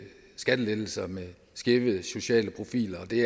skattelettelser med skæve sociale profiler og det